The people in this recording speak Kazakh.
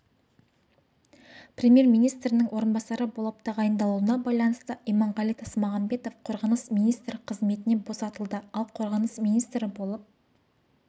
премьер-министрінің орынбасары болып тағайындалуына байланысты иманғали тасмағамбатов қорғаныс министрі қызметінен босатылды ал қорғаныс министрі болып